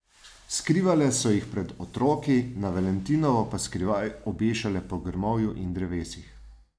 Skrivale so jih pred otroki, na valentinovo pa skrivaj obešale po grmovju in drevesih.